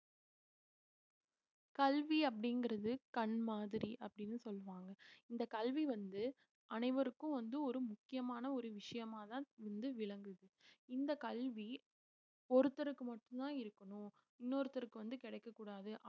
கல்வி அப்படிங்கிறது கண் மாதிரி அப்படின்னு சொல்லுவாங்க இந்த கல்வி வந்து அனைவருக்கும் வந்து ஒரு முக்கியமான ஒரு விஷயமாதான் வந்து விளங்குது இந்த கல்வி ஒருத்தருக்கு மட்டும்தான் இருக்கணும் இன்னொருத்தருக்கு வந்து கிடைக்கக் கூடாது